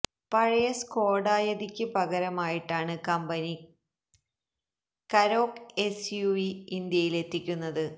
പഴയ സ്കോഡ യതിക്ക് പകരമായിട്ടാണ് കമ്പനി കരോക്ക് എസ്യുവി ഇന്ത്യയിൽ എത്തിക്കുന്നത്